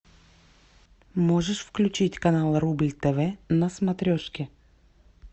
можешь включить канал рубль тв на смотрешке